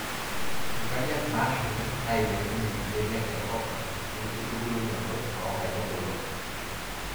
inkariak naashumi, nailepunyie ibenek tenkop o nkitubulunoto oo nkaitubulu.